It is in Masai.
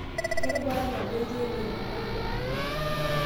Kerubata nabo etii emion anaa nkumok?